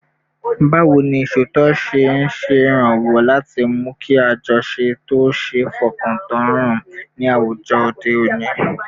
Báwo ni ìṣòtítọ́ ṣe ń ṣèrànwọ́ láti mú kí àjọṣe tó ṣeé fọkàn tán ró ní àwùjọ òde òní?